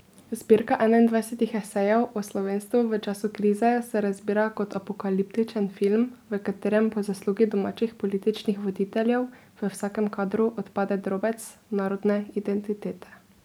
Zbirka enaindvajsetih esejev o slovenstvu v času krize se razbira kot apokaliptičen film, v katerem po zaslugi domačih političnih voditeljev v vsakem kadru odpade drobec narodne identitete.